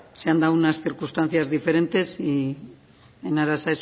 se han dado unas circunstancias diferentes y en aras